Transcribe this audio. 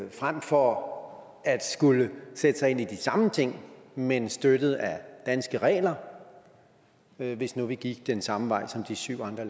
frem for at skulle sætte sig ind i de samme ting men støttet af danske regler hvis nu vi gik den samme vej som de syv andre